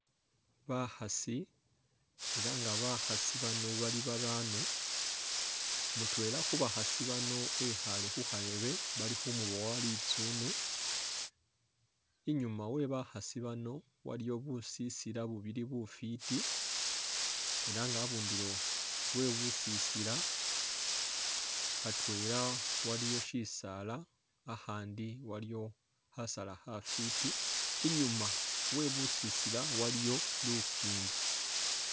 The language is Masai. Bakhaasi ela nga bakhaasi bano bali barano ,mutwela khubakhasi bano ekhale khu khareebe bali khu muboowa litsune, inyuma we bakhasi bano waliyo busisila bubili bufwiti ela nga abundulo we busisila khatwela waliyo shisaala akhandi waliyo khasaala khafwiti ,inyuma we busisila waliyo lukingi